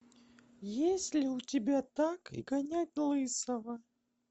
есть ли у тебя так и гонять лысого